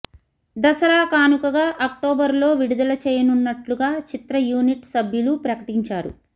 దసరా కానుకగా అక్టోబర్లో విడుదల చేయనున్నట్లుగా చిత్ర యూనిట్ సభ్యులు ప్రకటించారు